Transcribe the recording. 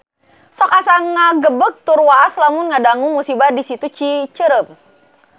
Sok asa ngagebeg tur waas lamun ngadangu musibah di Situ Cicerem